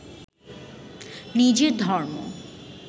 নিজের ধর্ম